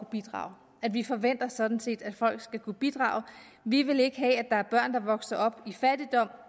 bidrage og at vi forventer sådan set at folk skal kunne bidrage vi vil ikke have at der er børn der vokser op i fattigdom